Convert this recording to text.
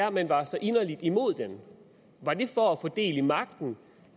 at man var så inderligt imod den var det for at få del i magten